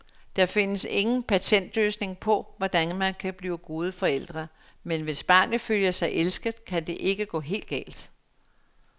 Der findes ingen patentløsning på, hvordan man bliver gode forældre, men hvis barnet føler sig elsket, kan det ikke gå helt galt.